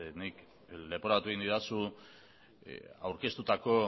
leporatu egin didazu aurkeztutako